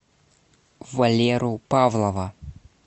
валеру павлова